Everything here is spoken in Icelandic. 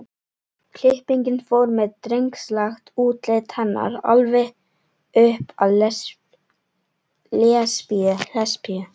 klippingin fór með drengslegt útlit hennar alveg upp að lesbíu